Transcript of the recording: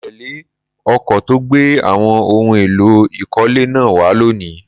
Mo tẹ́lé ọkọ̀ tó gbé àwọn ohun èlò ìkọ́lé náà wá lónìí